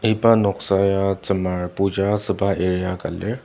iba noksa ya tsümar puja asüba area ka lir.